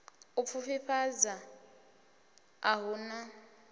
u pfufhifhadza a hu na